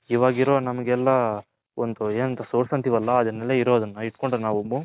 ಇವಾಗ ಇರೋ ನಮ್ಮ ಗೆಲ್ಲ Source ಏನು ಅಂತಿರಲ್ಲ ಅದುನೆಲ್ಲ ಇರೋದನ್ನ ಇಟ್ಕೊಂಡ್ರೆ ನಾವು